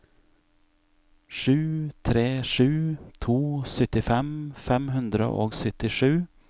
sju tre sju to syttifem fem hundre og syttisju